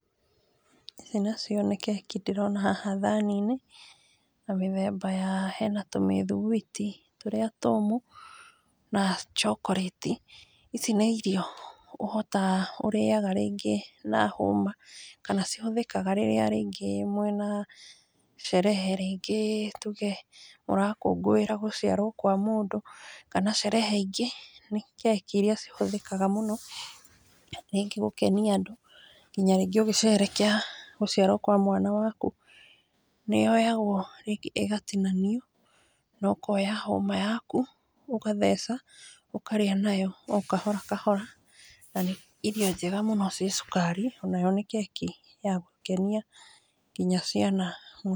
Ici nacio nĩ keki ndĩrona haha thani-inĩ, na mĩthemba ya, hena tũmĩthigwiti tũrĩa tũmũ na chokorĩti, ici nĩ irio ũhotaga ũrĩaga rĩngĩ na hũma, kana cihũthĩkaga rĩrĩa rĩngĩ mwĩna sherehe rĩngĩ tuge mũrakũngũĩra gũciarwo kwa mũndũ, kana sherehe ingĩ, nĩ keki cihũthĩkaga mũno, rĩngĩ gũkenia andũ, nginya rĩngĩ ũgĩcerehekea gũciarwo kwa mwana waku, nĩ yoyagwo ĩgatinanio, na ukoya hũma yaku ũgatheca, ũkarĩa nayo o kahora kahora, na nĩ irio njega mũno ci cukari, onayo nĩ keki ya gũkenia nginya ciana.